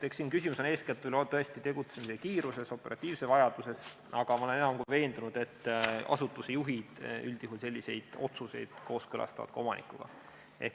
Eks küsimus ole eeskätt ju tõesti tegutsemise kiiruses, operatiivses vajaduses, aga ma olen enam kui veendunud, et asutuste juhid üldjuhul selliseid otsuseid kooskõlastavad omanikuga.